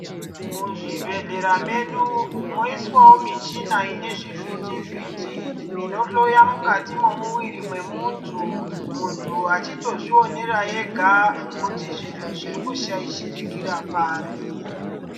Muzvibhedhlera medu moyiswawo michina ine zvivhiti-vhiti, inohloya mukati memuviri memuntu, muntu achitozvionera ega kuti zviro zviri kushayishikira pari.